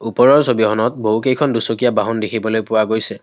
ওপৰৰ ছবিখনত বহুকেইখন দুচকীয়া বাহন দেখিবলৈ পোৱা গৈছে।